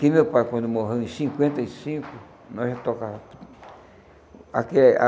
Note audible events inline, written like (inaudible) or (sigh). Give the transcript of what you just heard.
Que meu pai, quando morreu em cinquenta e cinco, nós ia tocar. (unintelligible)